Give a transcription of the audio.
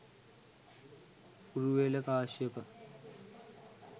Uruvela Kashyapa,